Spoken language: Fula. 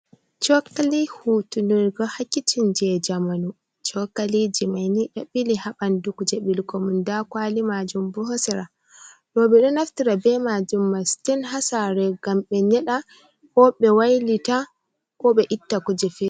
Cookali hutunirgo haa kicin jey jamanu, cookaliji mai ni ɗo bili haa ɓanndu kuje ɓilugo man, ndaa kwali maajum boo ha sera, rooɓe ɗo do naftira bee maajum masin haa saare ngam ɓe nyeɗa koo ɓe wailita koo ɓe itta kuje feere.